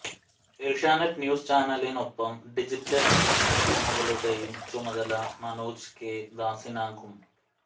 Asianet news ചാനലിനൊപ്പം digital പ്ലാറ്റ് ഫോമുകളുടേയും ചുമതല മനോജ് കെ ദാസിനാകും